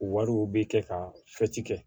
Wariw bɛ kɛ ka kɛ